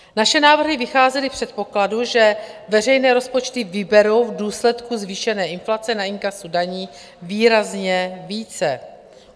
Naše návrhy vycházely z předpokladu, že veřejné rozpočty vyberou v důsledku zvýšené inflace na inkasu daní výrazně více.